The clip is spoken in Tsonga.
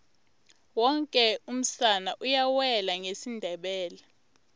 woke umsana uyawela ngesindebele